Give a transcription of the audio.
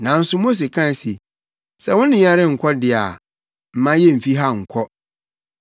Nanso Mose kae se, “Sɛ wo ne yɛn renkɔ de a, mma yemmfi ha nnkɔ.